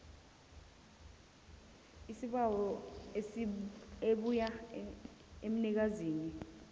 isibawo ebuya emnikazini